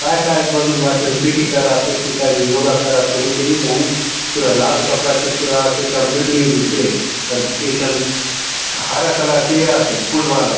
काय - काय बलून भाति पीठी करासोत की काय योगा करासोत उन के नी जानु पूरा लाल कपड़ा चो पूरा आसे एथा बिल्डिंग भीतरे अउर एक टन हरा कलर चो ए आसे फुटबॉल असन --